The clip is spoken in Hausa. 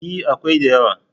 E, akwai da yawa.